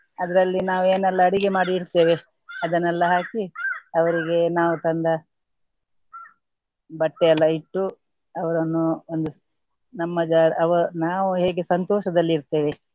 ಅದರಲ್ಲಿ ನಾವು ಏನೆಲ್ಲಾ ಅಡಿಗೆ ಮಾಡಿ ಇಡ್ತೇವೆ ಅದನ್ನೆಲ್ಲಾ ಹಾಕಿ ಅವರಿಗೆ ನಾವು ತಂದ ಬಟ್ಟೆ ಎಲ್ಲ ಇಟ್ಟು ಅವರನ್ನು ಒಂದು ಸ್~ ನಮ್ಮ ಅವರ್ ನಾವು ಹೇಗೆ ಸಂತೋಷದಲ್ಲಿ ಇರ್ತೇವೆ.